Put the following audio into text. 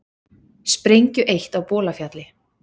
Sprengju eytt á Bolafjalli